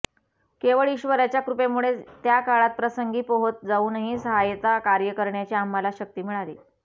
केवळ ईश्वराच्या कृपेमुळेच त्या काळात प्रसंगी पोहत जाऊनही साहाय्यता कार्य करण्याची आम्हाला शक्ती मिळाली